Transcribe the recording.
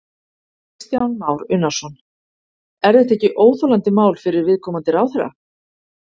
Kristján Már Unnarsson: Er þetta ekki óþolandi mál fyrir viðkomandi ráðherra?